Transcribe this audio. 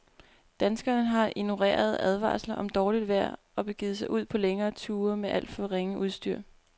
Danskerne har ignoreret advarsler om dårligt vejr og begivet sig ud på længere ture med alt for ringe udstyr.